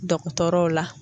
Dɔgɔtɔrɔw la